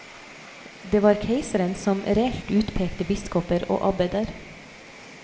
Det var keiseren som reelt utpekte biskoper og abbeder.